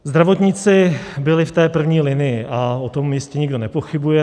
Zdravotníci byli v té první linii a o tom jistě nikdo nepochybuje.